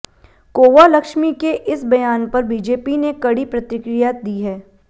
कोवा लक्ष्मी के इस बयान पर बीजेपी ने कड़ी प्रतिक्रिया दी है